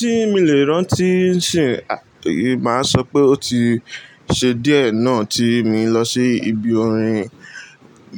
Tí mi lè rántí ṣì, màá sọ pé ó ti ṣe díẹ̀ náà tí mi lọ sí ibi orin